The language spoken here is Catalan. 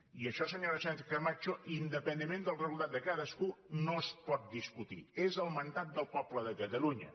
i això senyora sánchez camacho independentment del resultat de cadascú no es pot discutir és el mandat del poble de catalunya